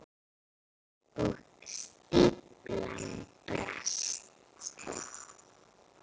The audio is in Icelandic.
Og stíflan brast.